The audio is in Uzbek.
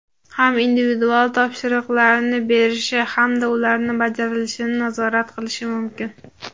ham individual topshiriqlarni berishi hamda ularning bajarilishini nazorat qilishi mumkin.